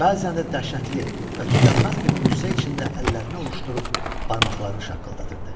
Bəzən də dəhşətli və tükənməz bir qüssə içində əllərini ovuşdurub, barmaqlarını şaqqıldadırdı.